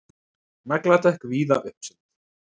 Nagladekk víða uppseld